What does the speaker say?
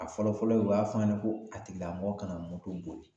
A fɔlɔ fɔlɔ u y'a fɔ ɲɛnɛ ko a tigilamɔgɔ kana moto boli